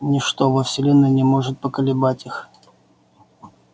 ничто во вселенной не может поколебать их